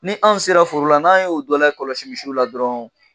Ni an sera foro la n'an y'o dɔ lakɔlɔsi misiw la dɔrɔnw